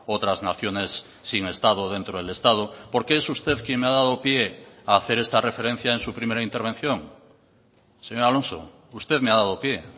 otras naciones sin estado dentro del estado porque es usted quien me ha dado pie a hacer esta referencia en su primera intervención señor alonso usted me ha dado pie